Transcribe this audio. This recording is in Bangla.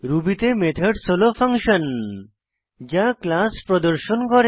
রুবি তে মেথডস হল ফাংশন যা ক্লাস প্রদর্শন করে